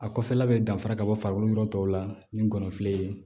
A kɔfɛla bɛ danfara ka bɔ farikolo yɔrɔ tɔw la ni ngɔnɔnfilɛ